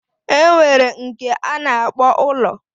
Enwere nke ana akpo ulo